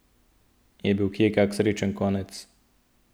Je bil kje kak srečen konec?